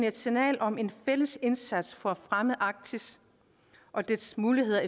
et signal om en fælles indsats for at fremme arktis og dets muligheder